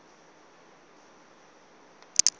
zwe zwa vha zwo khakhea